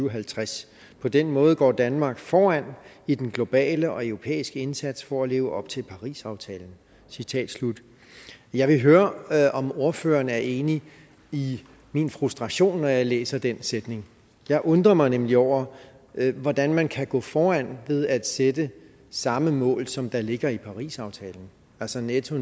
og halvtreds på den måde går danmark foran i den globale og europæiske indsats for at leve op til parisaftalen jeg vil høre om ordføreren er enig i min frustration når jeg læser den sætning jeg undrer mig nemlig over hvordan man kan gå foran ved at sætte samme mål som der ligger i parisaftalen altså netto